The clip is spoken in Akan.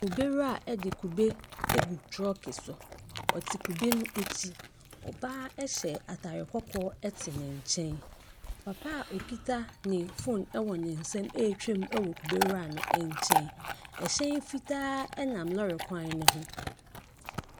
Kubewura de kube agu trɔɔke so, ɔte kube no akyi. Ɔbaa a ɔhyɛ ataare kɔkɔɔ te ne nkyɛn. Papa a okita ne phone wɔ ne nsamu ɛretwa wɔ kubewura ne nkyɛn. Hyɛn fitaa a nam lɔɔre kwan ne ho.